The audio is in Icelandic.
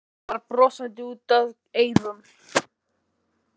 Hún var brosandi út að eyrum.